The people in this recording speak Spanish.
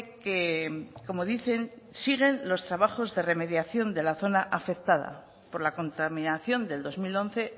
que como dicen siguen los trabajos de remediación de la zona afectada por la contaminación del dos mil once